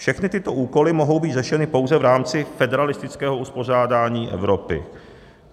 Všechny tyto úkoly mohou být řešeny pouze v rámci federalistického uspořádání Evropy."